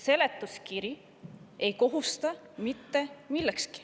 Seletuskiri ei kohusta mitte millekski.